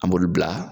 An b'olu bila